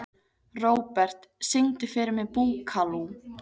Robert, syngdu fyrir mig „Búkalú“.